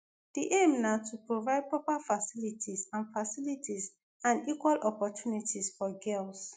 di aim na to provide proper facilities and facilities and equal opportunities for girls.